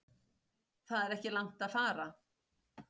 Það er ekki langt að fara.